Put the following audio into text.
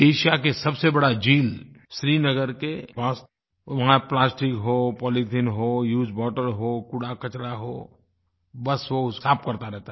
Asia की सबसे बड़ी झील श्रीनगर के पास वहाँ प्लास्टिक हो पॉलिथीन हो यूज्ड बॉटल हो कूड़ाकचरा हो बस वो साफ़ करता रहता है